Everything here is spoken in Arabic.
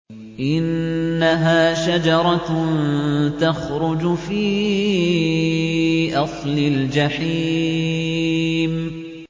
إِنَّهَا شَجَرَةٌ تَخْرُجُ فِي أَصْلِ الْجَحِيمِ